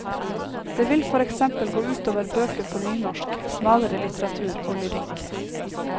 Det vil for eksempel gå ut over bøker på nynorsk, smalere litteratur og lyrikk.